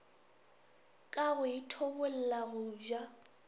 ka go ithobolla go ja